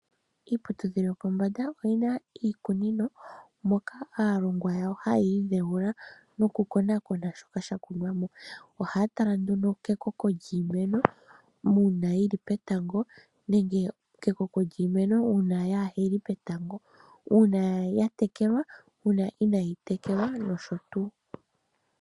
Iiputudhilo yopombanda yoyina iikunino moka aalongwa yawo hayi idhewula noku konakona shoka sha tulwamo ohaya tala kekoko lyiimeno uuna yili petango nenge kekoko lyiimeno uuna yali petango nuuna yatekelwa nu una inayi tekelwa.